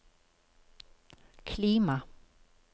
klima